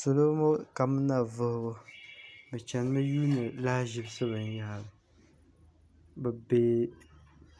salo ŋɔ kamina vuhibu bɛ chanimi yuuni lahiʒibisi binyahiri bɛ be